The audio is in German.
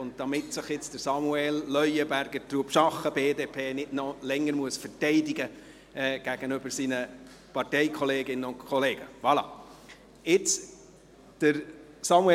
Dies, damit sich Samuel Leuenberger, Trubschachen, BDP, gegenüber seinen Parteikolleginnen und -kollegen nicht noch länger verteidigen muss.